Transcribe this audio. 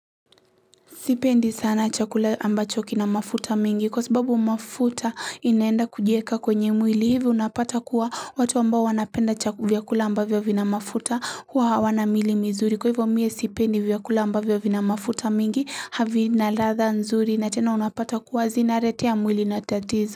Sipendi sana chakula ambacho kina mafuta mingi kwa sababu mafuta inaenda kujieka kwenye mwili hivi unapata kuwa watu ambao wanapenda vyakula ambavyo vina mafuta huwa hawana mili mizuri kwa hivyo mimi sipendi vyakula ambavyo vina mafuta mingi havina ladha nzuri na tena unapata kuwa zina letea mwili na tatizo.